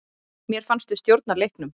Mér fannst við stjórna leiknum.